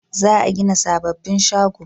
Za a gina sababbin shago